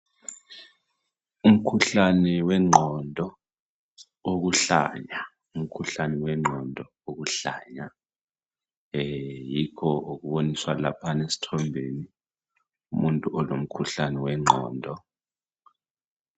Umkhuhlane wengqondo wokuhlanya. Yikho okuboniswa laphana esithombeni. Umuntu olomkhuhlane wengqondo.